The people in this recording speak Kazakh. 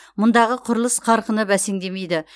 мұндағы құрылыс қарқыны бәсеңдемейді